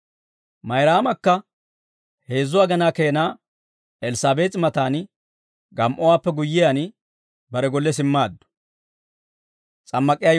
Mayraamakka heezzu agenaa keena Elssaabees'i matan gam"owaappe guyyiyaan bare golle simmaaddu.